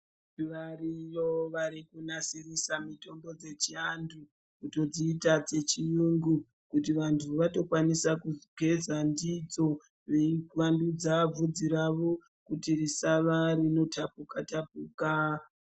Variyo varikunasirisa mitombo dzechivantu kudziita dzechirungu kuti vantu vatokwanisa kugeza ndidzo Veivandudza bvudzi ravo kuti risava rinotapuka tapuka.